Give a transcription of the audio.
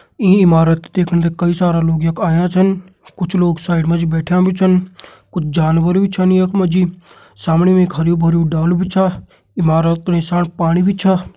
ईं इमारत त देखण कई सारा लोग यख आयां छन कुछ लोग साइड मा जी बैठ्यां भी छन कुछ जानवर भी छन यख मा जी सामणी मा एक हरयूं भरयुं डालू भी छ इमारत नीसाण पाणी भी छ।